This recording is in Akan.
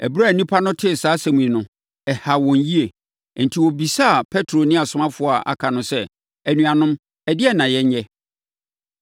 Ɛberɛ a nnipa no tee saa asɛm yi no, ɛhaa wɔn yie. Enti, wɔbisaa Petro ne asomafoɔ a aka no sɛ, “Anuanom, ɛdeɛn na yɛnyɛ?”